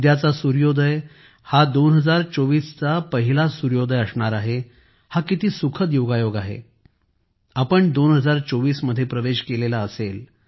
उद्याचा सूर्योदय हा 2024 चा पहिला सूर्योदय असणार आहे हा किती सुखद योगायोग आहे आपण 2024 मध्ये प्रवेश केला असेल